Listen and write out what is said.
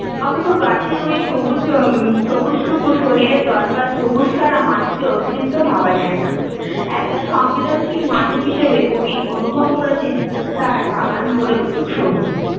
অথচ গাছের ঐ সবুজ হম সবুজটুকু শরীরে দরকার সবুজ ছাড়া মানুষের অস্তিত্ব ভাবা যায়না, একজন সংবেদনশীল মানুষ হিসাবে কবি অনুভব করেছেন তার বাগান ভরে উঠুক সবুজে